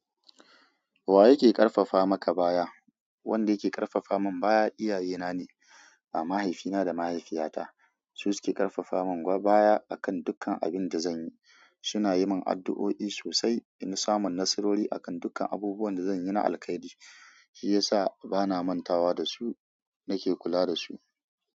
Wa yake ƙarfafa maka baya? Wanda yake ƙarfafa mun baya iyaye na ne, mahaifina da mahaifiyata. Su suke ƙarfafa mun baya akan dukkan abin da zanyi. Suna yi mun addu'o'i sosai, ini samu nasarori akan dukkan abubuwan da zan yi na alkhairi. Shiyasa bana mantawa da su, nake kula da su.